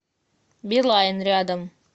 билайн рядом